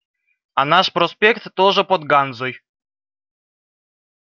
а наш проспект тоже под ганзой